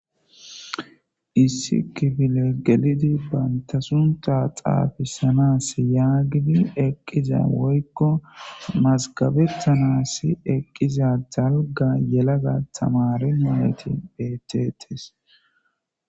Issi kibile gelidi bantasunta xaafissanas yaagidi eqqiza woykko masgabettanas eqqiza jalga yelaga tamari moyeti bettetes.